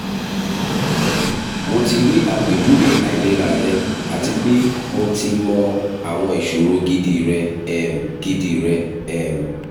mo ti ri apejuwe ailera rẹ ati pe mo ti mọ awọn iṣoro gidi rẹ um gidi rẹ um